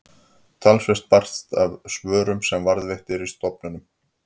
talsvert barst af svörum sem varðveitt eru á stofnuninni